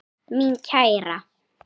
Mín kæra.